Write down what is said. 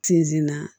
Sinzin na